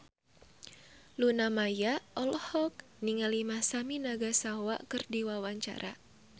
Luna Maya olohok ningali Masami Nagasawa keur diwawancara